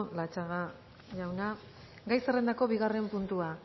latxaga jauna gai zerrendako bigarren puntua